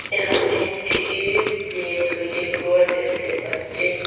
এখানে একটি ইট দিয়ে তৈরি ঘর দেখতে পাচ্ছি।